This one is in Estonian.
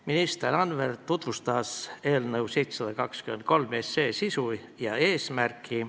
Minister Anvelt tutvustas eelnõu 723 sisu ja eesmärki.